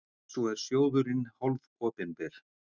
Svo er sjóðurinn hálfopinber.